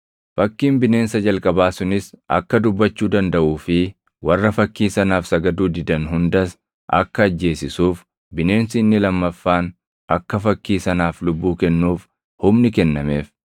Fakkiin bineensa jalqabaa sunis akka dubbachuu dandaʼuu fi warra fakkii sanaaf sagaduu didan hundas akka ajjeesisuuf bineensi inni lammaffaan akka fakkii sanaaf lubbuu kennuuf humni kennameef.